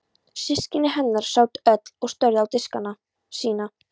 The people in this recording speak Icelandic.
Systkini hennar sátu öll og störðu á diskana sína.